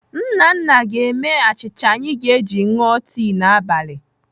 Nnanna ga-eme achịcha anyị ga-eji ṅụọ tii n'abalị.